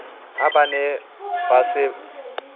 ha ba ne ba se